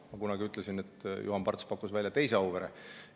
Ma kunagi ütlesin, et Juhan Parts pakkus välja teise Auvere.